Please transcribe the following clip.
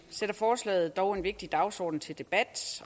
sætter forslaget dog en vigtig dagsorden til debat